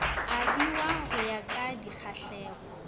abiwa go ya ka dikgahlego